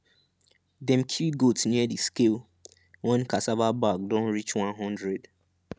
dem kill goat near the scale one cassava bag don reach one hundred